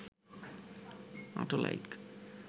auto like